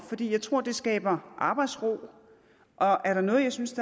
jeg tror det skaber arbejdsro og er der noget jeg synes